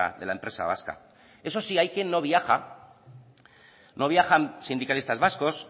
de la empresa vasca eso sí hay quien no viaja no viajan sindicalistas vascos